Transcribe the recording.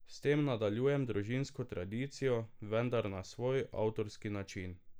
S tem nadaljujem družinsko tradicijo, vendar na svoj, avtorski način.